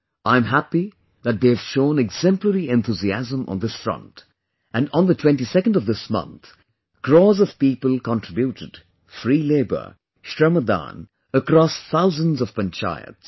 I am happy that they have shown exemplary enthusiasm on this front and on 22nd of this month crores of people contributed free labour, Shramdaanacross thousands of panchayats